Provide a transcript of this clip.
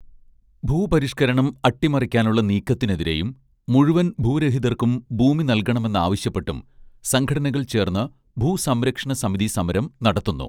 ഭൂപരിഷ്കരണം അട്ടിമറിക്കാനുള്ള നീക്കത്തിനെതിരെയും മുഴുവൻ ഭൂരഹിതർക്കും ഭൂമി നൽകണമെന്നാവശ്യപ്പെട്ടും സംഘടനകൾ ചേർന്ന് ഭൂസംരക്ഷണസമിതി സമരം നടത്തുന്നു